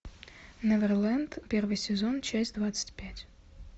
неверленд первый сезон часть двадцать пять